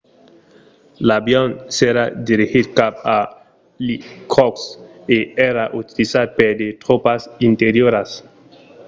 l'avion s'èra dirigit cap a irkotsk e èra utilizat per de tropas interioras